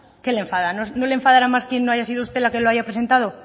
qué le enfada no le enfadará más que no haya sido usted la que lo haya presentado